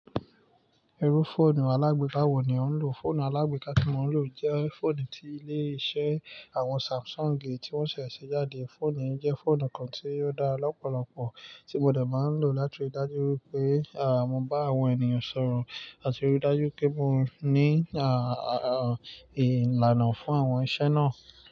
Irú fóònù alágbe báwo ni ò ń lò? Fóònù alágbe ká tí mo ń lò jẹ́ fóònù tí ilé isẹ́ àwọn Samsung ti wọ́n ṣẹ̀ ṣe jáde. Fóònù yí jẹ́ fóònù kan tí ó dára lọ́pọ̀lọpọ̀ tí mo dẹ máa ń lò láti rí i dájú wípé à mo n bá àwọn ènìyàn sọ̀rọ̀ àti rí i dájú pé mo ní ìlànà fún àwọn iṣẹ́ náà.